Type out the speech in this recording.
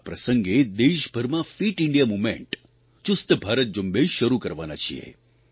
આ પ્રસંગે દેશભરમાં ફીટ ઇન્ડિયા મુવમેન્ટચુસ્ત ભારત ઝુંબેશ શરૂ કરવાના છીએ